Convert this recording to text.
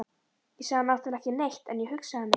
Ég sagði náttúrlega ekki neitt, en ég hugsaði mitt.